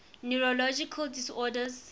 neurological disorders